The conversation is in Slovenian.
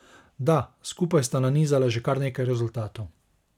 Da, skupaj sta nanizala že kar nekaj rezultatov.